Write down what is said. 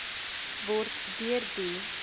word deur die